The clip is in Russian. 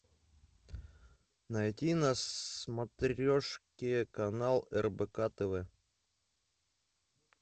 найти на смотрешке канал рбк тв